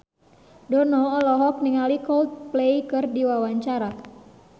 Dono olohok ningali Coldplay keur diwawancara